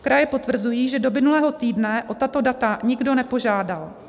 Kraje potvrzují, že do minulého týdne o tato data nikdo nepožádal.